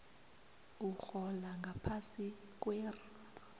urhola ngaphasi kwer